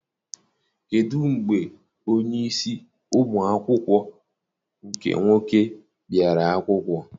Kedụ mgbe onyeisi ụmụ akwụkwọ nke nwoke biara akwụkwọ?